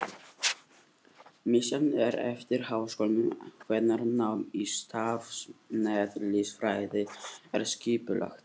Misjafnt er eftir háskólum hvernig nám í stjarneðlisfræði er skipulagt.